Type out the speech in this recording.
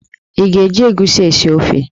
Ị ga-eji egusi esi ofe?